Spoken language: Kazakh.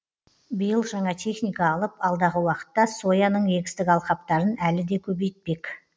биыл жаңа техника алып алдағы уақытта сояның егістік алқаптарын әлі де көбейтпек